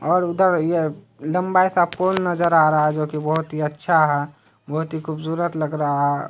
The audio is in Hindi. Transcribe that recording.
और उधर ये लंबा सा पुल नज़र आ रहा है जोकि बहुत ही अच्छा है बहुत ही खुबसूरत लग रहा है ।